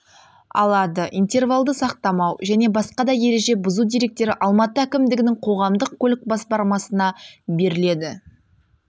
алады интервалды сақтамау және басқа да ереже бұзу деректері алматы әкімдігінің қоғамдық көлік басқармасына беріледі